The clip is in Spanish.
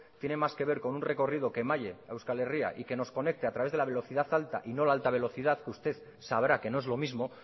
tiene más que ver con un recorrido que malle a euskal herria y que nos conecte a través de la velocidad alta y no la alta velocidad que usted sabrá que no es lo mismo